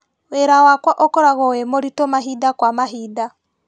Wĩra wakwa ũkoragwo wĩmũritũ mahinda kwa mahinda.